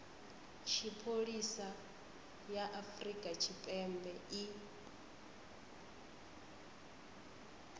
tshipholisa ya afrika tshipembe i